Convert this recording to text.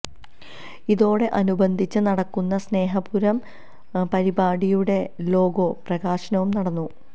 ഇതോട് അനുബന്ധിച്ച് നടക്കുന്ന സ്നേഹപുരം പരിപാടിയുടെ ലോഗോ പ്രകാശനവും നടന്നു